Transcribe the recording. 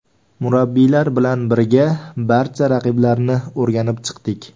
Murabbiylar bilan birga barcha raqiblarni o‘rganib chiqdik.